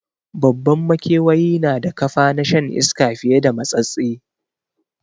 Babban makewayi na da kafa na shan iska fiye da matsatstse